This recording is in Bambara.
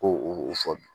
Ko o fɔli